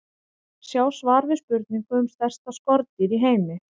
Sjá svar við spurningu um stærsta skordýr í heimi.